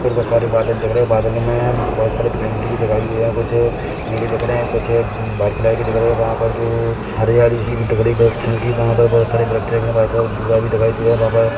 कुछ बरसाती बादल दिख रहे है बादलों में बहोत सारे पेंटिंग भी दिखाई दे रहे है कुछ नीले दिख रहे है कुछ ब बारीक़ कलर के दिख रहे है वहाँ पर जो हरियाली - सी दिख रही है व्रक्षण की वहाँ पर बहोत सारे वृक्ष है बहोत सारा धुँआ भी दिखाई दे रहा है वहाँ पर --